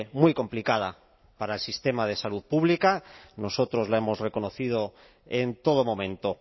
muy complicada para el sistema de salud público nosotros le hemos reconocido en todo momento